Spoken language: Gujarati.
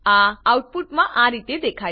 આઉટપુટઆ રીતે દેખાય છે